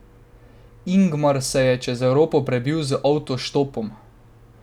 Ingmar se je čez Evropo prebil z avtoštopom.